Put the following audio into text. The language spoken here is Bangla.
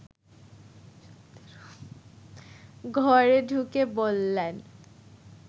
ঘরে ঢুকে বললেন